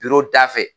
da fɛ